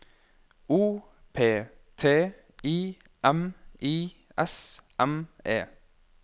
O P T I M I S M E